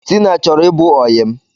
Tina chọrọ ị bụ oyi m